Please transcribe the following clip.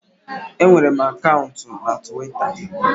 Enwere m akaụntụ na Twita